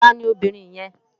Tàní óbìrín yèn?